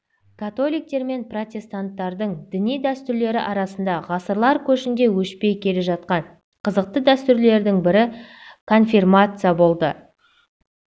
католиктер мен протестанттардың діни дәстүрлері арасында ғасырлар көшінде өшпей келе жатқан қызықты дәстүрлердің бірі конфирмация болды